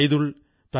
Suman Deviji